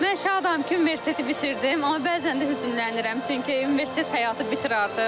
Mən şadam ki, universiteti bitirdim, amma bəzən də hüznlənirəm, çünki universitet həyatı bitir artıq.